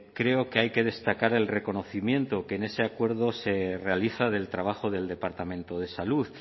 creo que hay que destacar el reconocimiento que en ese acuerdo se realiza del trabajo del departamento de salud